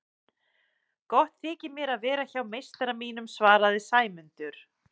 Gott þykir mér að vera hjá meistara mínum svaraði Sæmundur.